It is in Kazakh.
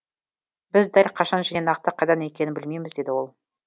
біз дәл қашан және нақты қайда екенін білмейміз деді ол